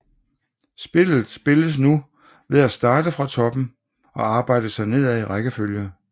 Spillet spilles nu ved at starte fra toppen og arbejde sig nedad i rækkefølge